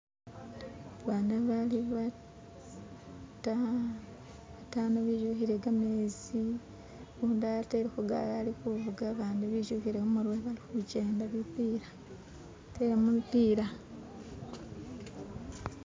Abana bali batano bitukile gamezi. Gundi atele kugali alikuvuga bandi bitukile kumutwe balikujenda bipila, batele mubipiila.